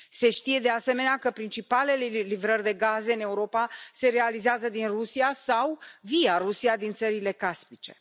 Se știe, de asemenea, că principalele livrări de gaze în Europa se realizează din Rusia sau via Rusia din țările caspice.